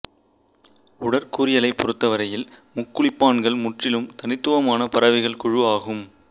உடற்கூறியலைப் பொறுத்தவரையில் முக்குளிப்பான்கள் முற்றிலும் தனித்துவமான பறவைகள் குழு ஆகும்